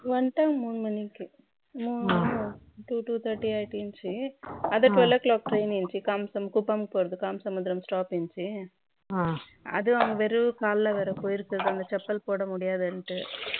தாங்க மூணு மணிக்கு two to thirty அதுவும் twelve O'clock வெறும் காலைல போய் இருக்கு செப்பல் போட முடியாதுன்ட்டு